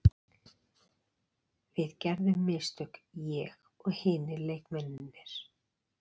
Við gerðum mistök, ég og hinir leikmennirnir.